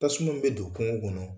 Tasuma min bɛ don kungo kɔnɔ